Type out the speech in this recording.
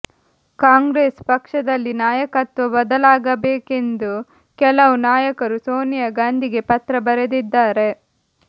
ಕಾಂಗ್ರೆಸ್ ಪಕ್ಷದಲ್ಲಿ ನಾಯಕತ್ವ ಬದಲಾಗಬೇಕೆಂದು ಕೆಲವು ನಾಯಕರು ಸೋನಿಯಾ ಗಾಂಧಿಗೆ ಪತ್ರ ಬರೆದಿದ್ದಾರೆ